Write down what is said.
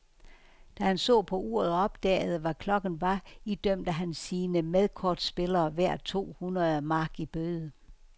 Da han så på uret og opdagede, hvad klokken var, idømte han sine medkortspillere hver to hundrede mark i bøde.